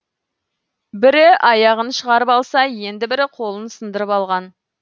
бірі аяғын шығарып алса енді бірі қолын сындырып алған